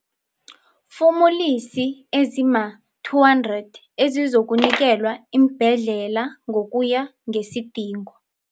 Fumulisi ezima-200 ezizokunikelwa iimbhedlela ngokuya ngesidingo.